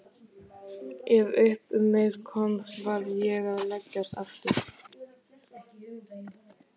Ef upp um mig komst varð ég að leggjast aftur.